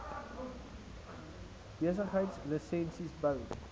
besigheids lisensies bou